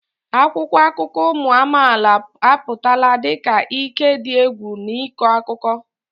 Akwụkwọ akụkọ ụmụ amaala apụtala dị ka ike dị egwu n'ịkọ akụkọ.